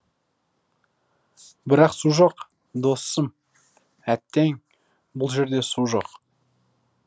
бірақ су жоқ досым әттең бұл жерде су жоқ